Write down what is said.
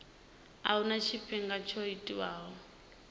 a huna tshifhinga tsho tiwaho